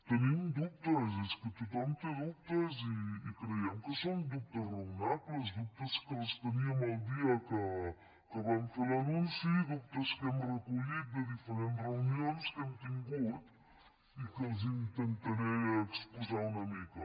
tenim dubtes és que tothom té dubtes i creiem que són dubtes raonables dubtes que els teníem el dia que van fer l’anunci dubtes que hem recollit de diferents reunions que hem tingut i que els intentaré exposar una mica